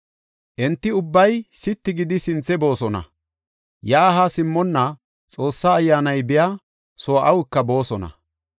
Enti ubbay sitti gidi sinthe boosona; yaa haa simmonna, Xoossa Ayyaanay biya soo awuka boosona.